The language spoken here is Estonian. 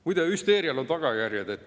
Muide, hüsteerial on tagajärjed.